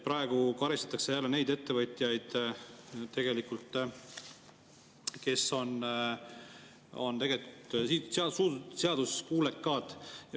Praegu karistatakse tegelikult jälle neid ettevõtjaid, kes on seaduskuulekad.